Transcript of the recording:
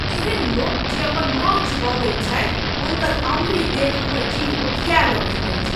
एहन लोक जे अपन नौह चिबबैत छथि हुनकर अङ्गुरी देखि हमर जीह ओकियाय लगैत अछि।